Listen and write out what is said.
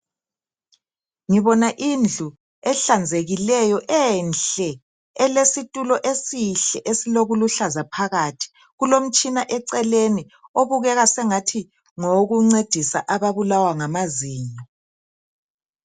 Ngibona indlu ehlanzekileyo enhle elesitulo esihle, esilokuluhlaza phakathi kulomtshina eceleni obukeka sengathi ngowokuncedisa ababulawa ngamazinyo.